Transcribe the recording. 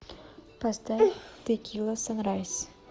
поставь тэкила санрайз